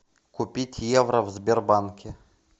купить евро в сбербанке